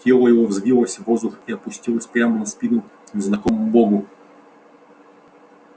тело его взвилось в воздух и опустилось прямо на спину незнакомому богу